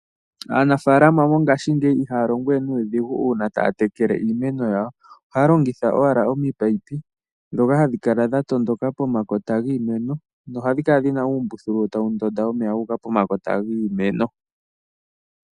Aanafalama mongashingeyi ihaya longowe nuudhigu uuna taya tekele iimeno yawo. Ohaya longitha owala ominino ndhoka hadhi kala dhatondoka pomakota giimeno nohadhi kala dhina uumbuthulu tawu ndonda omeya guuka pomakota giimeno.